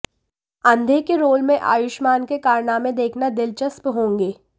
अंधे के रोल में आयुष्मान के कारनामे देखना दिलचस्प होंगे